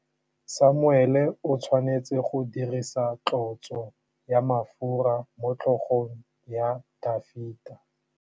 Samuele o tshwanetse go dirisa tlotsô ya mafura motlhôgong ya Dafita.